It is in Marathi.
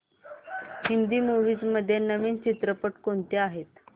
हिंदी मूवीझ मध्ये नवीन चित्रपट कोणते आहेत